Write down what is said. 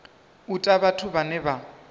u ta vhathu vhane vha